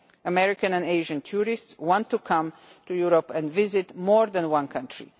American and Asian tourists want to come to Europe and visit more than one country.